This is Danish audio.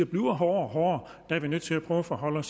bliver hårdere og hårdere er vi nødt til at prøve at forholde